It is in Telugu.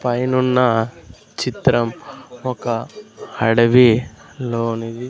పైనున్న చిత్రం ఒక అడవి లోనివి.